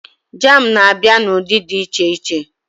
Jam na-abịa n'ụdị dị iche iche